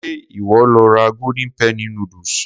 Ṣé ìwọ lo ra golden penny noodles?